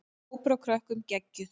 Hópur af krökkum: Geggjuð.